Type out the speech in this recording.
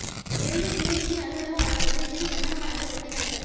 Vellore DIG அலுவலக வளாகத்தில் இரு சந்தன மரங்கள் வெட்டிக் கடத்தல்